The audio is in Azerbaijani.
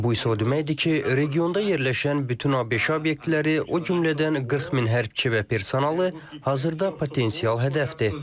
Bu isə o deməkdir ki, regionda yerləşən bütün ABŞ obyektləri, o cümlədən 40 min hərbçi və personalı hazırda potensial hədəfdir.